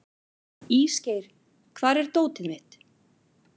Ísgeir, hvar er dótið mitt?